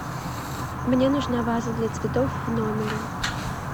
мне нужна ваза для цветов в номере